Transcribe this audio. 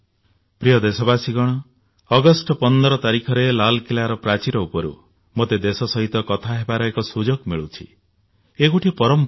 ପ୍ରିୟ ଦେଶବାସୀଗଣ ଅଗଷ୍ଟ 15 ତାରିଖରେ ଲାଲକିଲ୍ଲାର ପ୍ରାଚୀର ଉପରୁ ମୋତେ ଦେଶ ସହିତ କଥା ହେବାର ଏକ ସୁଯୋଗ ମିଳୁଛି ଏ ଗୋଟିଏ ପରମ୍ପରା